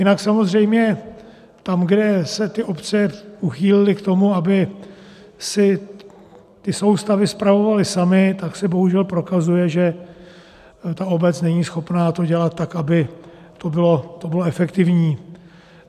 Jinak samozřejmě tam, kde se ty obce uchýlily k tomu, aby si ty soustavy spravovaly samy, tak se bohužel prokazuje, že ta obec není schopna to dělat tak, aby to bylo efektivní.